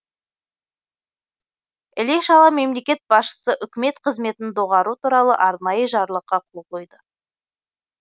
іле шала мемлекет басшысы үкімет қызметін доғару туралы арнайы жарлыққа қол қойды